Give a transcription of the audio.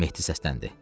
Mehdi səsləndi.